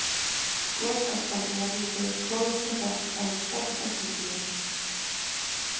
Gosaskan sem verður til kólnar svo hratt að hún storknar sem gler.